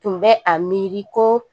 Tun bɛ a miiri ko